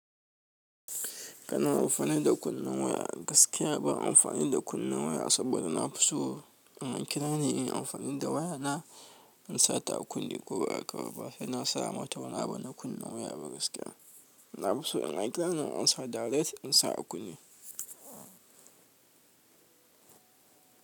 Kana amfani da kunnen waya gaskiya ban amfani da kunnen waya saboda na fi so in an kirani in amfani da waya na in sa ta a kunne ko ba haka ba. Ba sai na sa mata wani abu na kunnen waya ba gaskiya. Na fi so in an kirani in ansa direct in sa a kunne.